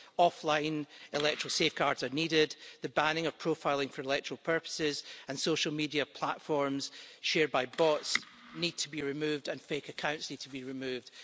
Offline electoral safeguards are needed, and the banning of profiling for electoral purposes, social media platforms shared by bots need to be removed and fake accounts need to be removed.